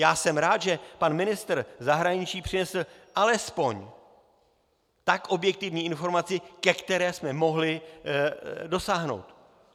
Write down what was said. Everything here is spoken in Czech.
Já jsem rád, že pan ministr zahraničí přinesl alespoň tak objektivní informaci, ke které jsme mohli dosáhnout.